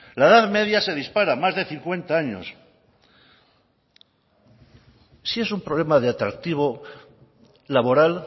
la edad media se dispara más de cincuenta años si es un problema de atractivo laboral